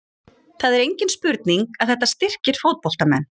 Það er engin spurning að þetta styrkir fótboltamenn.